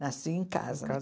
Nasci em casa. Em casa